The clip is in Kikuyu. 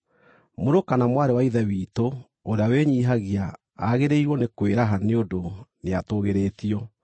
Mũrũ kana mwarĩ wa Ithe witũ ũrĩa wĩnyiihagia aagĩrĩirwo nĩ kwĩraha nĩ ũndũ nĩatũũgĩrĩtio.